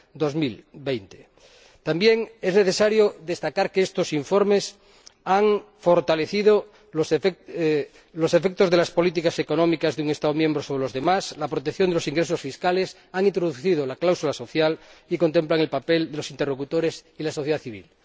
2020. También es necesario destacar que estos informes han fortalecido los efectos de las políticas económicas de un Estado miembro sobre los demás y la protección de los ingresos fiscales, han introducido la cláusula social y contemplan el papel de los interlocutores y la sociedad civil.